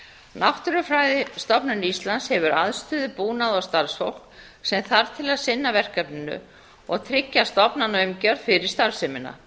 sinna náttúrufræðistofnun íslands hefur aðstöðu búnað og starfsfólk sem þarf til að sinna verkefninu og tryggja stofnanaumgjörð fyrir starfsemina